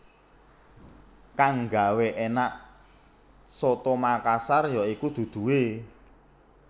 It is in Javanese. Kang gawé énak coto Makassar ya iku duduhé